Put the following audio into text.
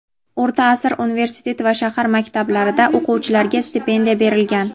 O‘rta asr universitet va shahar maktablarida o‘quvchilarga stipendiya berilgan.